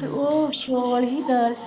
ਤੇ ਉਹ .